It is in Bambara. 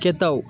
Kɛtaw